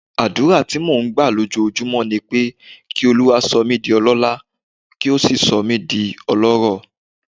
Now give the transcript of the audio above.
Àdúrà tí mò ń gbà lójoojúmọ́ ni pé kí Olúwa sọ mí di ọlọ́lá, kó sì sọ mí di ọlọ́rọ̀.